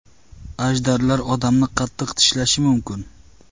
Ajdarlar odamni qattiq tishlashi mumkin.